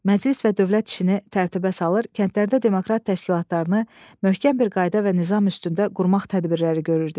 Məclis və dövlət işini tərtibə salır, kəndlərdə demokrat təşkilatlarını möhkəm bir qayda və nizam üstündə qurmaq tədbirləri görürdük.